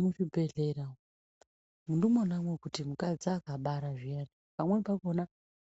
Muzvibhedhlera ndimona mekuti akadzi akabara zviyani amweni anoti